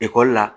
Ekɔli la